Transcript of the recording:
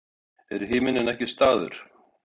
En himinninn er ekki staður.